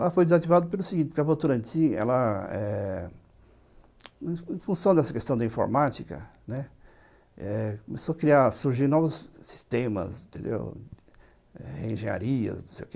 Lá foi desativado pelo seguinte, porque a Votorantim, ela , eh... em função dessa questão da informática, né, começou a surgir novos sistemas, reengenharias, não sei o quê